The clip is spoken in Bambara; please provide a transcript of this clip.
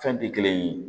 Fɛn tɛ kelen ye